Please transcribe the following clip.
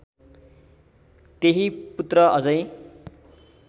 तेही पुत्र अझै